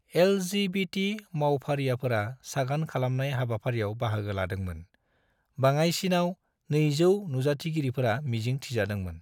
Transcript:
LGBT मावफारियाफोरा सागान खालामनाय हाबाफारियाव बाहागो लादोंमोन; बाङायसिनाव 200 नुजाथिगिरिफोरा मिजिं थिजादोंमोन।